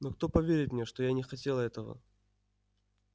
но кто поверит мне что я не хотел этого